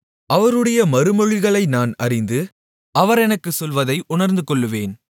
அவருடைய மறுமொழிகளை நான் அறிந்து அவர் எனக்குச் சொல்வதை உணர்ந்துகொள்ளுவேன்